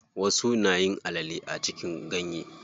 Wasu nayin alale a cikin ganye.